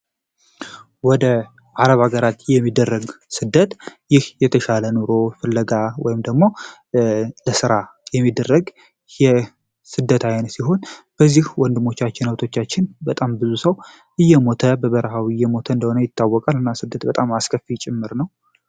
ወደ አረብ ሀገራት የሚደረግ ስደት ይህ የተሻለ ኑሮ ፍለጋ ወይም ደግሞ ለሥራ የሚደረግ የስደት ዓይነ ሲሆን በዚህ ወንድሞቻችን ነብቶቻችን በጣም ብዙ ሰው እየሞተ በበረሃው እየሞተ እንደሆነ ይታወቃል ። እና ስደት በጣም አስከፊ ይጭምር ነው።